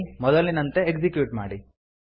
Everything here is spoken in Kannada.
ಮೊದಲಿನಂತೆ ಎಕ್ಸಿಕ್ಯೂಟ್ ಮಾಡಿ